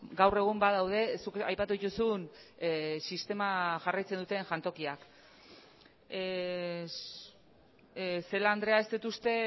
gaur egun badaude zuk aipatu dituzun sistema jarraitzen duten jantokiak celáa andrea ez dut uste